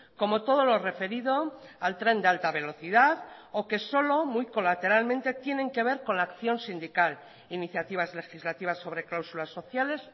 como todo lo referido al tren de alta velocidad o que solo muy colateralmente tienen que ver con la acción sindical iniciativas legislativas sobre cláusulas sociales